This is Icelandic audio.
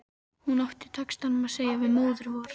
Hún átti í textanum að segja við Móður-Vor